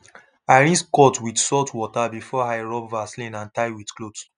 i rinse cut with salt water before i rub vaseline and tie with cloth